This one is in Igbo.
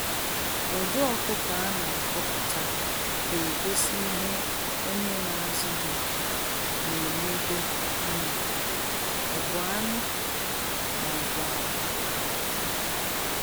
Ụdị ọkụkọ a na ahọpụta ga egosi ihe onye na azụ ha na enedo anya, ọ bu anụ maọbu akwa. akwa.